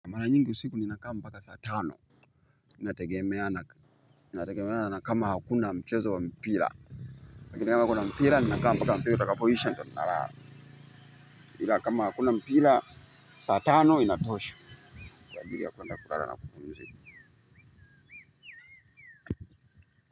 Mara nyingi usiku ninakaa mpaka saa tano. Inategemea na nakama hakuna mchezo wa mpira. Nakina kuna mpira, ni nakama paka mpira utaka po isha ndo naraara. Kama akuna mpira saa tano inatosha. Kwa ajiri ya kwenda kurara na kupumuzi.